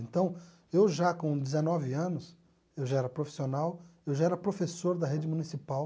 Então, eu já com dezenove anos, eu já era profissional, eu já era professor da rede municipal